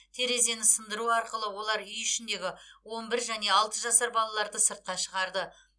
терезені сындыру арқылы олар үй ішіндегі он бір және алты жасар балаларды сыртқа шығарды